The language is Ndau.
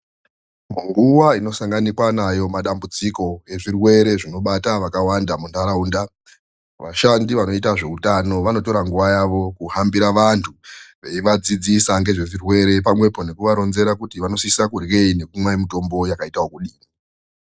Nguwa inosanganikwa nayo madambudziko ezvirwere zvinoibata vakawanda muntaraunda vashandi vanoita zveutano vanotora nguwa yavo kuhambira vantu veivadzidzisa nezvezvirwere pamwepo nekuvaronzera kuti vanosise kuryei nekumwe mitombo yakadini.